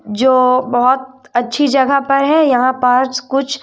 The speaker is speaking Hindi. जो बहोत अच्छी जगह पर है यहां पर कुछ--